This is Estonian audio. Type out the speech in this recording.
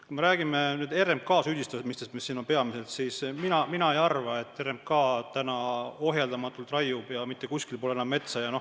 Kui me räägime nüüd RMK-st ja süüdistustest selle vastu, siis mina ei arva, et RMK ohjeldamatult raiub ja mitte kuskil pole enam metsa.